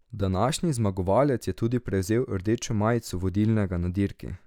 Današnji zmagovalec je tudi prevzel rdečo majico vodilnega na dirki.